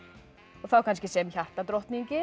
og þá kannski sem